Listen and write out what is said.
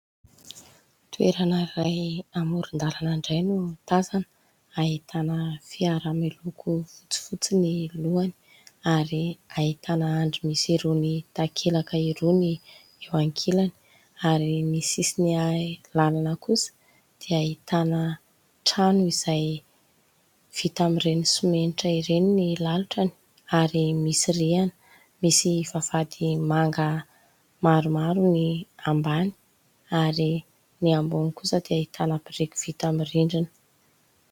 Toerana iray amoron-dalana indray no tazana, ahitana fiara miloko fotsifotsy ny lohany ary ahitana andry misy irony takelaka iroa ny eo ankilany ary ny sisin'ny lanana kosa dia ahitana trano izay vita amin'ireny simenitra ireny ny lalotrany ary misy rihana, misy vavahady manga maromaro ny ambany ary ny ambony kosa dia ahitana biriky vita amin'ny rindrina.